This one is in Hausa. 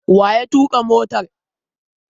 Wa ya tuƙa motar?